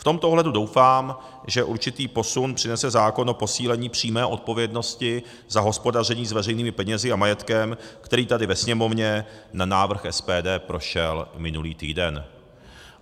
V tomto ohledu doufám, že určitý posun přinese zákon o posílení přímé odpovědnosti za hospodaření s veřejnými penězi a majetkem, který tady ve Sněmovně na návrh SPD prošel minulý týden.